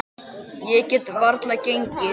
Ég get varla gengið.